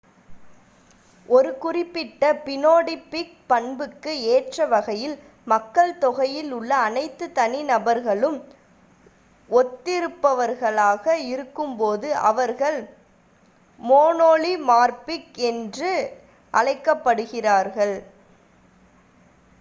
ஒரு குறிப்பிட்ட பினோடிபிக் பண்புக்கு ஏற்றவகையில் மக்கள்தொகையில் உள்ள அனைத்து தனி நபர்களும் ஒத்திருப்பவர்களாக இருக்கும்போது அவர்கள் மோனோமார்பிக் என்று அழைக்கப்படுகிறார்கள்